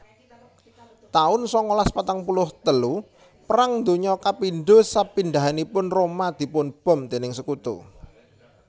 taun sangalas patang puluh telu Perang Donya kapindho Sepindhahanipun Roma dipun bom déning Sekutu